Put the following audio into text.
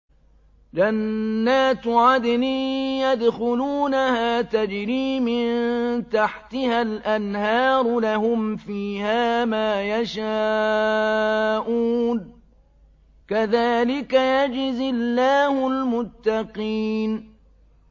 جَنَّاتُ عَدْنٍ يَدْخُلُونَهَا تَجْرِي مِن تَحْتِهَا الْأَنْهَارُ ۖ لَهُمْ فِيهَا مَا يَشَاءُونَ ۚ كَذَٰلِكَ يَجْزِي اللَّهُ الْمُتَّقِينَ